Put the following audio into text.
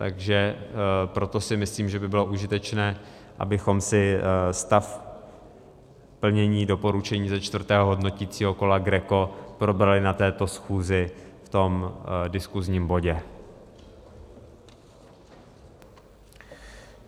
Takže proto si myslím, že by bylo užitečné, abychom si stav plnění doporučení ze čtvrtého hodnoticího kola GRECO probrali na této schůzi v tom diskusním bodě.